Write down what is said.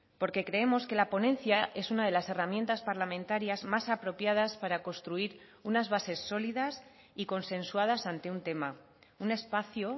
porque creemos que la ponencia es una de las herramientas parlamentarias más apropiadas para construir unas bases sólidas y consensuadas ante un tema un espacio